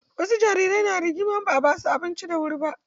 Wasu jarirai na rigima idan ba a basu abinci da wuri ba.